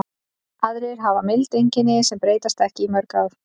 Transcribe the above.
Aðrir hafa mild einkenni sem breytast ekki í mörg ár.